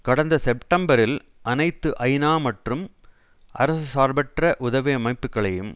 கடந்த செப்டெம்பரில் அனைத்து ஐநா மற்றும் அரசு சார்பற்ற உதவி அமைப்புக்களையும்